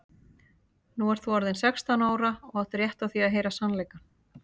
Nú ert þú orðin sextán ára og átt rétt á því að heyra sannleikann.